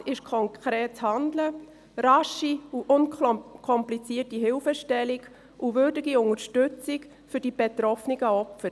Gefragt ist konkretes Handeln, rasche und unkomplizierte Hilfestellung und eine würdige Unterstützung der betroffenen Opfer.